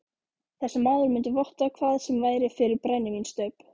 Þessi maður mundi votta hvað sem væri fyrir brennivínsstaup